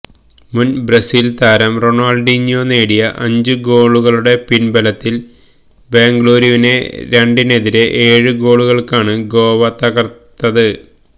മുന് ബ്രസീല് താരം റൊണാള്ഡീഞ്ഞ്യോ നേടിയ അഞ്ച് ഗോളുകളുടെ പിന്ബലത്തില് ബംഗളൂരുവിനെ രണ്ടിനെതിരെ ഏഴ് ഗോളുകള്ക്കാണ് ഗോവ തകര്ത്തത്